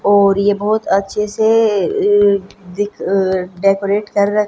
और ये बहुत अच्छे से अह दिख डेकोरेट कर र--